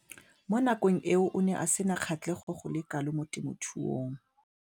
Mo nakong eo o ne a sena kgatlhego go le kalo mo temothuong.